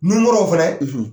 Nun kɔrɔ o fɛnɛ ?